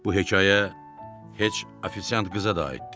Bu hekayə heç ofisiant qıza da aiddir.